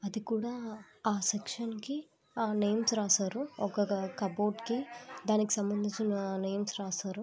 ఇది కూడా ఆ సెక్షన్ కి ఆ నేమ్స్ రాశారు ఒక కప్బోర్డ్ కి దానికి సంబంధించిన నేమ్స్ రాస్తారు